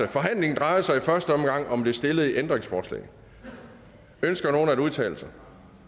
forhandlingen drejer sig i første omgang om det stillede ændringsforslag ønsker nogen at udtale sig